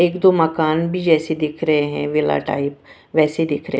एक दो मकान भी जैसे दिख रहे हैं विला टाइप वैसे दिख रहे --